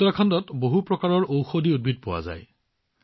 উত্তৰাখণ্ডত বহু প্ৰকাৰৰ ঔষধী উদ্ভিদ পোৱা যায়